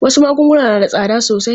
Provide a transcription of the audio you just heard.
Wasu magunguna na da tsada sosai.